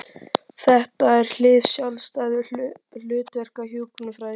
Þetta er hið sjálfstæða hlutverk hjúkrunarfræðingsins.